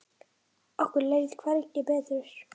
Okkur leið hvergi betur.